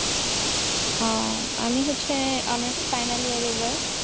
আহ আমি হচ্ছে honours final year এবার।